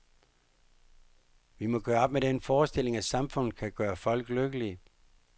Vi må gøre op med den forestilling, at samfundet kan gøre folk lykkelige.